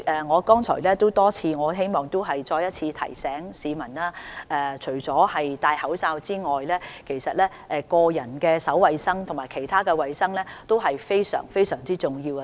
我亦希望再次提醒市民，除了佩戴口罩外，個人手部衞生及其他衞生也非常重要。